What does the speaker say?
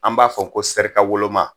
An b'a fɔ n ko sɛrikawoloma